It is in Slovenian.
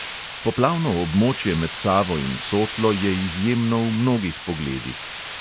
Poplavno območje med savo in sotlo je izjemno v mnogih pogledih.